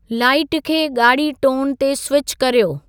light खे ॻाढ़ी tone ते स्विच कर्यो